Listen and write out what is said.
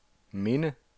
minde